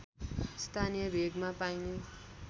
स्थानीय भेगमा पाइने